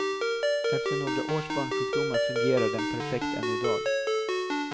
Efter några års barnsjukdomar fungerar den perfekt än i dag.